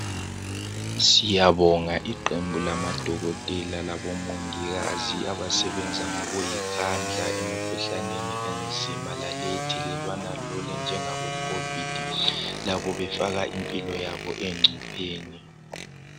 Siyabonga iqembu lamadokotela labomongikazi abasebenza ngokuyikhandla emikhuhlaneni enzima lale ethelelwana lula enjengabo COVID befaka impilo yabo engcupheni